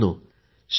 मित्रांनो